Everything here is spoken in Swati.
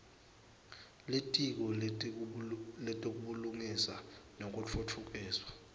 litiko letebulungisa nekutfutfukiswa